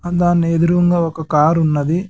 దాని ఎదురుంగా ఒక కారు ఉన్నది .